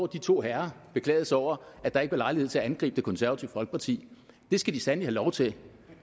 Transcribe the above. de to herrer beklagede sig over at der ikke var lejlighed til at angribe det konservative folkeparti det skal de sandelig have lov til